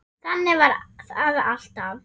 Þannig var það alltaf.